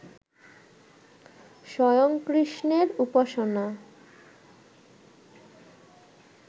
স্বয়ং কৃষ্ণের উপাসনা